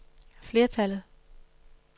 flertallet